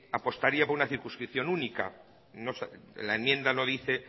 apostaría por una circunscripción única la enmienda no dice